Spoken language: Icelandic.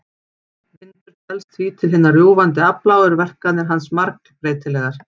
Vindur telst því til hinna rjúfandi afla og eru verkanir hans margbreytilegar.